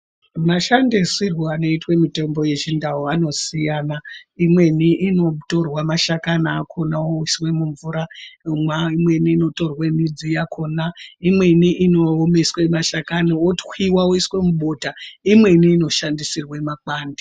Mashandisirwe anoitwe mitombo ye chindau anosiyana imweni ino torwa mashakani akona oiswe mu mvura imweni inotorwe midzi yakona imweni ino omeswe mashakani otwiwa oiswe mubota imweni ino shandisirwe makwande.